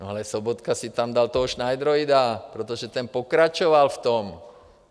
No ale Sobotka si tam dal toho šnajdroida, protože ten pokračoval v tom.